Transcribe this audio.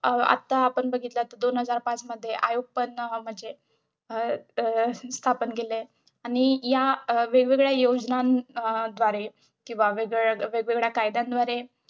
अं आता आपण बघितलं तर दोन हजार पाच मध्ये आयोग बनला म्हणजे अं स्थापन केलंय आणि या अं वेगवेगळ्या योजनां अं द्वारे किंवा वेगवेगळ्या कायद्यांद्वारे अं